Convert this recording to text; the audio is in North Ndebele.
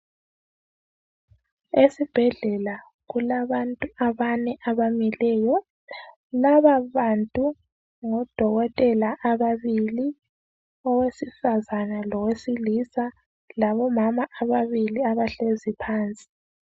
Esibhedlela kulabantu abane abamileyo laba bantu ngodokotela ababili owesifazana lowesilisa labomama ababili abahlezi phansi.